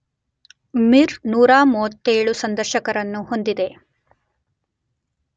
ಮಿರ್ 137 ಸಂದರ್ಶಕರರನ್ನು ಹೊಂದಿದೆ.